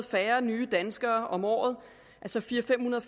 færre nye danskere om året altså fire hundrede